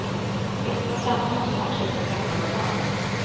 Vispa samman och smaksätt med peppar och salt.